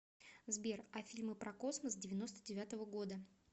сбер а фильмы про космос девяносто девятого года